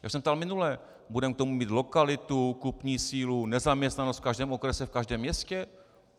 Já jsem se ptal minule: budeme k tomu mít lokalitu, kupní sílu, nezaměstnanost v každém okrese, v každém městě?